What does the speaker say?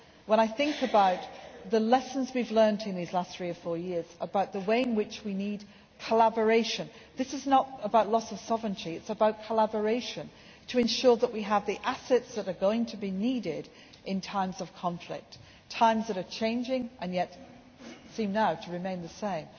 we do. When I think about the lessons we have learned in these last three or four years about the way in which we need collaboration, this is not about loss of sovereignty, but about collaboration to ensure that we have the assets that are going to be needed in times of conflict times that are changing and yet seem now to remain the